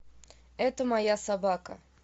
это моя собака